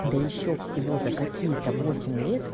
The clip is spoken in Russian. да ещё всего за какие-то восемь лет